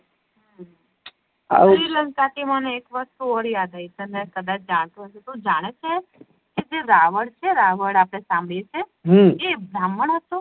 આવું શ્રીલંકા થી મને એક વસ્તુ ઔર યાદ આવી તને કદાચ જાણતો તું જાણે છે જે રાવણ છે રાવણ આપડે સાંભળીયે છે હમ એ ભ્રમણ હતો